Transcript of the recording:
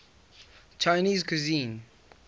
chinese cuisine